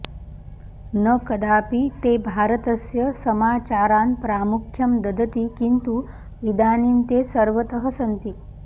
न कदापि ते भारतस्य समाचारान् प्रामुख्यं ददति किन्तु इदानीं ते सर्वतः सन्ति